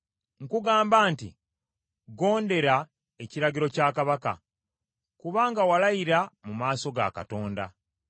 Nkugamba nti gondera ekiragiro kya kabaka, kubanga walayira mu maaso ga Katonda.